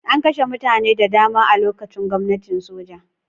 An kashe mutane da dama a lokacin gwamnatin soja.